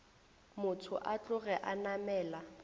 motho a tloge a namela